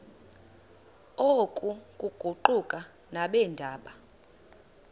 oku kuquka nabeendaba